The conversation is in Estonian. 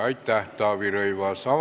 Aitäh, Taavi Rõivas!